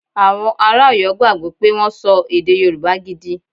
Awon ara Oyo gbagbo pe won so ede yoruba gidi.